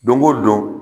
Don o don